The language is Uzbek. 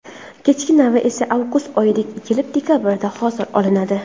Kechki navi esa avgust oyida ekilib, dekabrda hosil olinadi.